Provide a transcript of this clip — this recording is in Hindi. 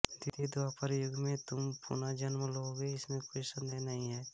द्वितीय द्वापर युग में तुम पुन जन्म लोगे इसमें कोई सन्देह नहीं है